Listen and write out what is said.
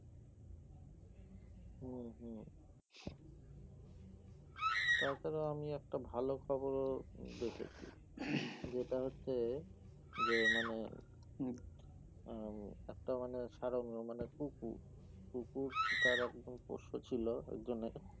তাছাড়া আমি একটা ভালো খবর ও দেখেছি যেটা হচ্ছে যে মানে উম একটা মানে সারমেয় মানে কুকুর কুকুর তার একদিন পোষ্য ছিল একজনের